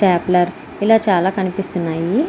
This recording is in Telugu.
స్టాప్లర్ ఇలా చాలా కనిపిస్తూ ఉన్నాయి.